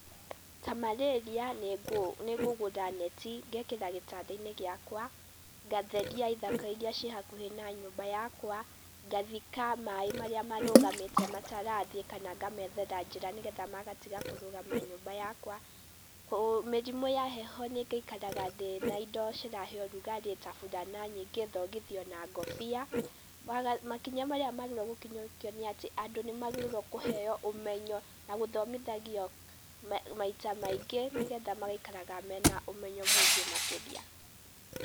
Ta Marĩria, nĩ, nĩ ngũgũra neti ngekĩra gĩtanda-inĩ giakwa, ngatheria ithaka irĩa ci hakuhĩ na nyũmba yakwa, ngathika maaĩ marĩa marũgamite matarathie kama ngamethera njĩra nĩgetha magatiga kũrũgama nyũmba yakwa. Mĩrimũ ya heho, nĩ ngaikaraga ndĩna indo cirahe ũrũgarĩ ta bũrana nyingĩ, thogithi ona ngũbia, makinya maria megiĩgũkinyũkio nĩ atĩ, andũ nĩ magĩrĩrwo kũheo ũmenyo na gũthomithagio maita maingĩ nĩgetha magaikaraga mena ũmenyo mũingi makiria.